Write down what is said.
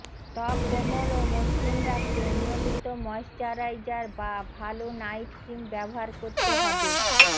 ত্বক কোমল ও মসৃণ রাখতে নিয়মিত ময়েশ্চারাইজার বা ভালো নাইটক্রিম ব্যবহার করতে হবে